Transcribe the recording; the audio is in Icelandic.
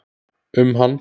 um hann.